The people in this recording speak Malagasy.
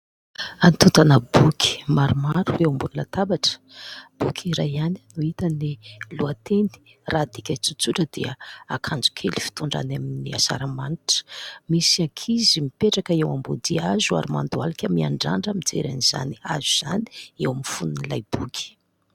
Antontana boky maromaro eo ambonin'ny latabatra. Boky iray ihany no hita ny lohateny, raha adika tsotsotra dia akanjo kely fitondra amin'ny asaramanitra. Misy ankizy mipetraka eo ambody hazo ary mandohalika miandrandra mijery izany hazo izany eo amin'ny fonon'ilay boky.